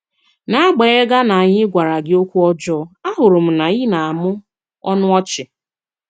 N'àgbànyèghà na ànyị̀ gwàrà gị òkwù ọ̀jọọ, àhụ̀rù m na ị na-àmụ̀ ọnụ ọ̀chì.